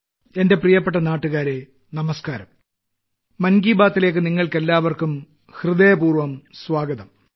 എന്റെ പ്രിയപ്പെട്ട നാട്ടുകാരേ നമസ്ക്കാരം മൻ കി ബാത്തിലേയ്ക്ക് നിങ്ങൾക്കെല്ലാവർക്കും ഹൃദയപൂർവ്വം സ്വാഗതം